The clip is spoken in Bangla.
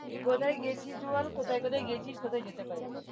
কোথায় গেছিস বল কোথায় কোথায় গেছিস কোথায় যেতে পারিস?